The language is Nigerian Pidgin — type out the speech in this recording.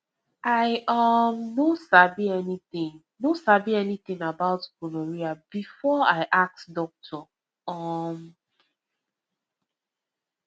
i um no sabi anything no sabi anything about gonorrhea before i ask doctor um